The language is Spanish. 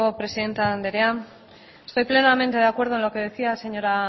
presidente andrea estoy plenamente de acuerdo en lo que decía señora